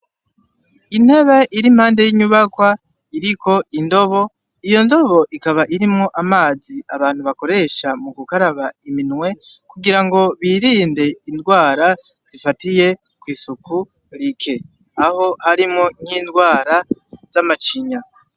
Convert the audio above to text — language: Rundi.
Intebe irimpande y'inyubakwa, iriko indobo, iyo ndobo ikaba irimwo amazi abantu bakoresha mugukaraba iminwe, kugira ngo birinde indwara zifatiye kw'isuku rike, aho harimwo nkindwara zamacinya.